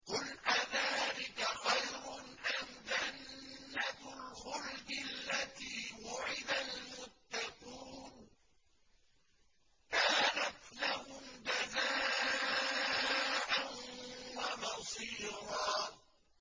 قُلْ أَذَٰلِكَ خَيْرٌ أَمْ جَنَّةُ الْخُلْدِ الَّتِي وُعِدَ الْمُتَّقُونَ ۚ كَانَتْ لَهُمْ جَزَاءً وَمَصِيرًا